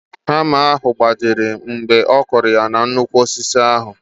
Hama ahụ gbajiri mgbe ọkụrụ ya na nnukwu osisi ahụ